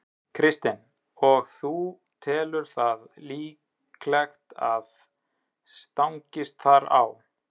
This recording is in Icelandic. Kristinn: Og þú telur það líklegt að það stangist þar á?